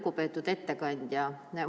Lugupeetud ettekandja!